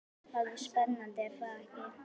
Það er spennandi er það ekki?